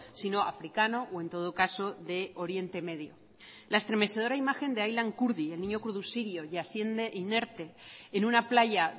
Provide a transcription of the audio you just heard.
sino africano o en todo caso de oriente medio la estremecedora imagen de aylan kurdi el niño kurdo sirio y yaciendo inerte en una playa